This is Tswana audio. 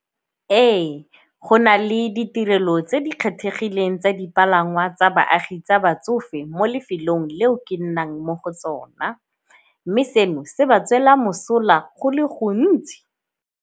Ee, go na le ditirelo tse di kgethegileng tsa dipalangwa tsa baagi tsa batsofe mo lefelong leo ke nnang mo go tsona, mme seno se ba tswela mosola go le gontsi.